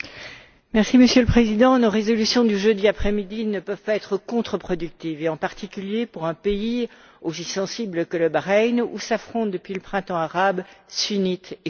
Monsieur le Président, nos résolutions du jeudi après midi ne peuvent pas être contre productives et en particulier pour un pays aussi sensible que le Bahreïn, où s'affrontent, depuis le Printemps arabe, sunnites et chiites.